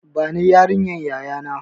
Ban yariyar yaya na!